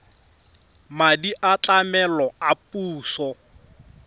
madi a tlamelo a puso